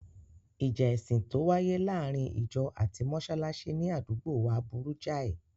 Ìjà ẹ̀sìn tó wáyé láàárín ìjọ ati mọsálásí ní àdúgbòo wa burú jáì.